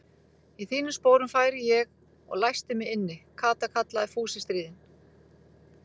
Í þínum sporum færi ég og læsti mig inni, Kata kallaði Fúsi stríðinn.